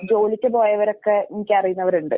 ജോലിക്ക് പോയവരൊക്കെ എനിക്കറിയുന്നവരുണ്ട്.